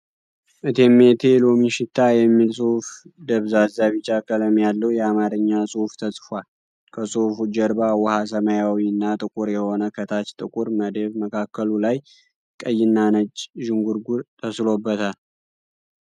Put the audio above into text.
"እቴሜቴ ሎሚ ሽታ" የሚል ፅሁፍ ደብዛዛ ቢጫ ቀለም ያለዉ የአማርኛ ፅሁፍ ተፅፏል። ከፅሁፉ ጀርባ ዉኃ ሰማያዊ እና ጥቁር የሆነ ከታች ጥቁር መደብ መካከሉ ላይ የቀይ እና ነጭ ዥንጉርጉር ተስሎበታል።